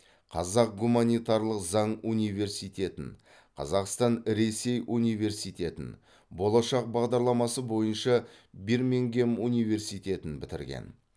қазақ гуманитарлық заң университетін қазақстан ресей университетін болашақ бағдарламасы бойынша бирмингем университетін бітірген